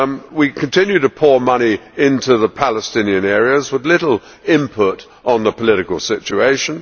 We continue to pour money into the Palestinian areas with little input on the political situation.